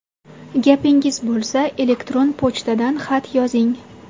Gapingiz bo‘lsa, elektron pochtadan xat yozing.